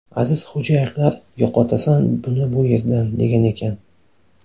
Azizxo‘jayevlar ‘yo‘qotasan buni bu yerdan’, degan ekan.